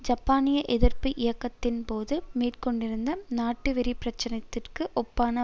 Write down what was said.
ஜப்பானிய எதிர்ப்பு இயக்கத்தின்போது மேற்கொண்டிருந்த நாட்டுவெறி பிரச்சாரத்திற்கு ஒப்பான